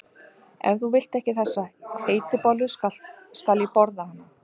Ef þú vilt ekki þessa hveitibollu skal ég borða hana